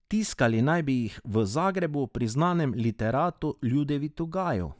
Tiskali naj bi jih v Zagrebu pri znanem literatu Ljudevitu Gaju.